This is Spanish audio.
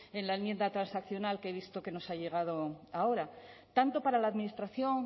en la enmienda transaccional que he visto que nos ha llegado ahora tanto para la administración